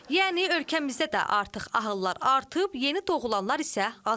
Yəni ölkəmizdə də artıq ahıllar artıb, yeni doğulanlar isə azalıb.